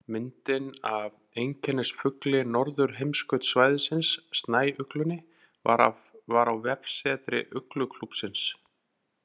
Myndin af einkennisfugli norðurheimskautssvæðisins, snæuglunni, var á vefsetri Ugluklúbbsins.